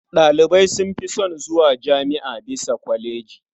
Ɗalibai sun fi son zuwa jami'a bisa kwaleji.